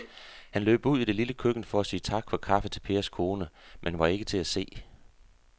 Han løb ud i det lille køkken for at sige tak for kaffe til Pers kone, men hun var ikke til at se.